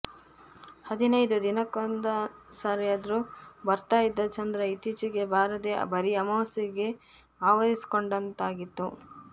ಹದಿನೈದು ದಿನಕ್ಕೊಂದ್ಸಾರಿನಾದ್ರು ಬರ್ತಾ ಇದ್ದ ಚಂದ್ರ ಇತ್ತೀಚೆಗೆ ಬರದೆ ಬರೀ ಅಮಾವಾಸ್ಯೆ ಆವರಿಸ್ಕೊಂಡಂತಾಗಿತ್ತು